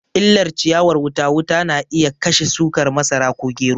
Illar ciyawar wuta wuta na iya kashe shukar masara ko gero